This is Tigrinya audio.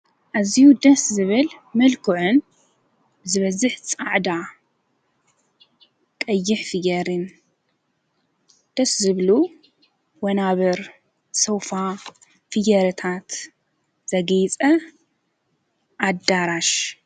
እዚ ደስ ዝብል መልክዕን ብዝበዝሕ ጻዕዳ ቀይሕ ፊየርን ደስ ዝብሉ ወናበር ሠውፋ ፊየርታት ዘጌይጸ ኣዳራሽ።